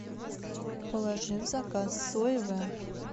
положи в заказ соевое